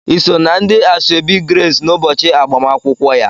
Ị sọ na ndị asoebi Grace n'ụbọchị agbamakwụkwọ ya.